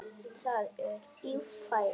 Það er Ífæran.